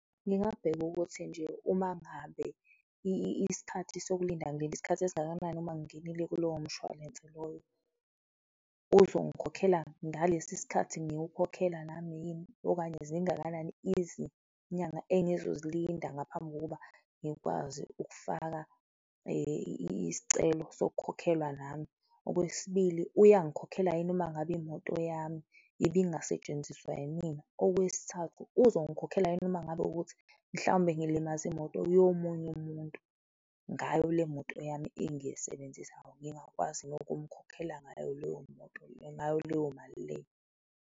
Ngingabheka ukuthi nje uma ngabe isikhathi sokulinda ngilinde isikhathi esingakanani uma ngingenile kulowo mshwalense loyo? Uzongikhokhela ngalesi sikhathi ngiwukhokhela nami yini okanye zingakanani izinyanga engizozilinda ngaphambi kokuba ngikwazi ukufaka isicelo sokukhokhelwa nami? Okwesibili, uyangikhokhela yini mangabe imoto yami ibingasetshenziswa yimina? Okwesithathu, uzongikhokhela yini uma ngabe wukuthi mhlawumbe ngilimaze imoto yomunye umuntu ngayo le moto yami engiyisebenzisayo, ngingakwazi nokumukhokhela ngayo leyo moto le, ngayo leyo mali leyo?